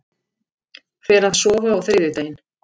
Fer að sofa á þriðjudaginn